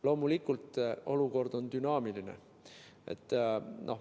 Loomulikult, olukord on dünaamiline.